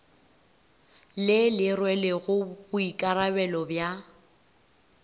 le le rwelego boikarabelo bja